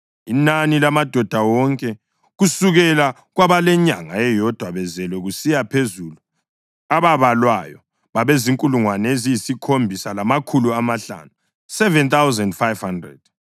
Inani lamadoda wonke kusukela kwabalenyanga eyodwa bezelwe kusiya phezulu ababalwayo babezinkulungwane eziyisikhombisa lamakhulu amahlanu (7,500).